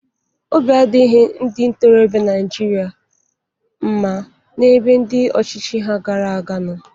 Obi adịghịri ndị ntorọbịa Naijiria mma n'ebe ndị ọchịchị ha gara aga nọ.